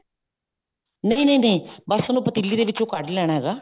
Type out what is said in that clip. ਨਹੀਂ ਨਹੀਂ ਨਹੀਂ ਬੱਸ ਉਹਨੂੰ ਪਤੀਲੀ ਦੇ ਵਿਚੋਂ ਕੱਡ ਲੈਣਾ ਹੈਗਾ